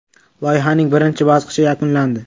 Loyihaning birinchi bosqichi yakunlandi.